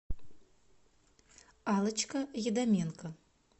аллочка едаменко